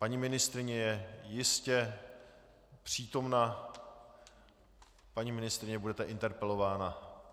Paní ministryně je jistě přítomna, paní ministryně, budete interpelována.